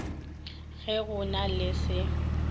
ge go na le se